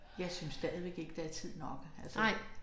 Jeg synes stadigvæk ikke der er tid nok altså